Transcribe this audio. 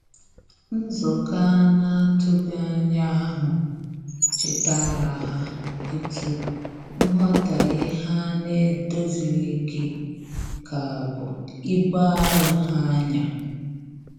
Nzukọ anatughi anya ahu chetara ha etu nwotaghe ha n'edozilighi ka bụ ibụ arọ ha nya